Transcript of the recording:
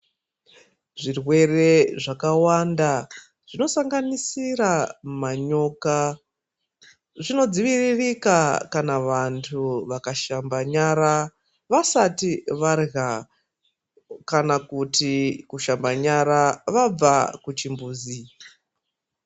Zvirwere zvakawanda zvinosanganisira manyoka zvinodziviririka kana vantu Vakashamba nyara vasati varya kana kuti kushamba nyara vabva kuchimbuzi.